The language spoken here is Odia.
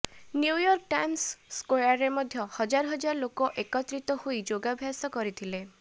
ନ୍ୟୁୟର୍କ ଟାଇମସ୍ ସ୍କୋୟାରରେ ମଧ୍ୟ ହଜାର ହଜାର ଲୋକ ଏକତ୍ରୀତ ହୋଇ ଯୋଗାଭ୍ୟାସ କରିଥିଲେ